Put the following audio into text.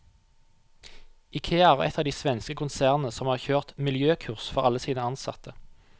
Ikea er ett av de svenske konsernene som har kjørt miljøkurs for alle sine ansatte.